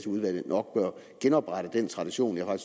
i udvalget nok bør genoprette den tradition jeg